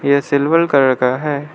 ये silver colour का है।